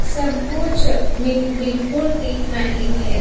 सब कुछ मि बिल्कुल ठीक नहीं है।